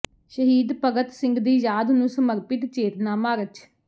ਸ਼ਹੀਦ ਭਗਤ ਸਿੰਘ ਦੀ ਯਾਦ ਨੂੰ ਸਮਰਪਿਤ ਚੇਤਨਾ ਮਾਰਚ